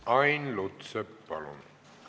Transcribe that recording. Ain Lutsepp, palun!